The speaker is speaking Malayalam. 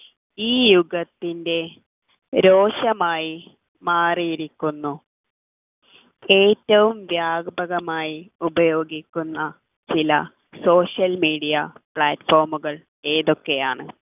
ഈ യുഗത്തിൻ്റെ രോഷമായി മാറിയിരിക്കുന്നു ഏറ്റവും വ്യാപകമായി ഉപയോഗിക്കുന്ന ചില social media platform കൾ ഏതൊക്കെയാണ്